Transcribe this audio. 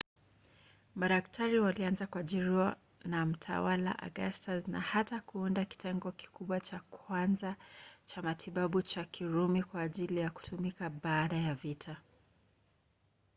madaktari walianza kuajiriwa na mtawala augustus na hata kuunda kitengo kikubwa cha kwanza cha matibabu cha kirumi kwa ajili ya kutumika baada ya vita